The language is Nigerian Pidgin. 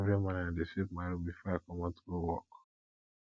every morning i dey sweep my room before i comot go work